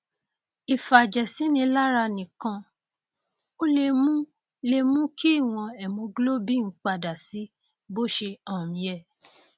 ìfàjẹsínilára nìkan ò lè mú lè mú kí ìwọn hemoglobin padà sí bó ṣe um yẹ